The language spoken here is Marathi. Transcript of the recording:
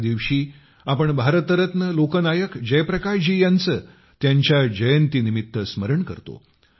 या दिवशी आपण भारतरत्न लोकनायक जयप्रकाशजी यांचेत्यांच्या जयंतीनिमित्त स्मरण करतो